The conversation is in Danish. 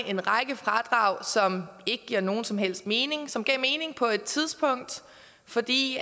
en række fradrag som ikke giver nogen som helst mening men som gav mening på et tidspunkt fordi